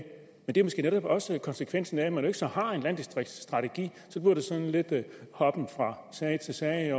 men det er måske netop også konsekvensen af at man ikke har en landdistriktsstrategi så bliver det sådan lidt en hoppen fra sag til sag